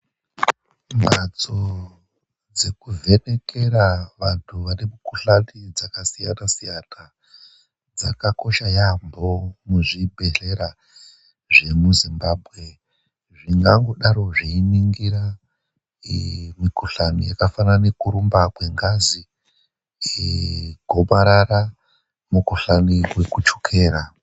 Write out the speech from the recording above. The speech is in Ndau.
Mhatso dzekuvhenekera vanhu vane mikhuhlani dzakasiyana siyana dzakakosha yaamho muzvibhedhlera zvemuZimbabwe zvingangodaro zveiningira mikhuhlani yakafanana neyekurumba kwengazi, gomarara nemukhuhlani wekuchukera.